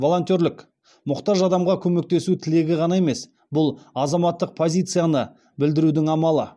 волонтерлік мұқтаж адамға көмектесу тілегі ғана емес бұл азаматтық позицияны білдірудің амалы